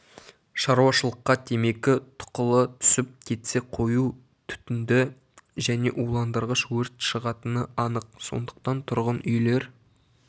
шаруашылыққа темекі тұқылы түсіп кетсе қою түтінді және уландырғыш өрт шығатыны анық сондықтан тұрғын үйлер